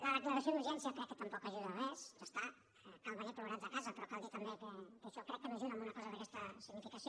la declaració d’urgència crec que tampoc ajuda a res ja està cal venir plorats de casa però cal dir també que això crec que no ajuda a una cosa d’aquesta significació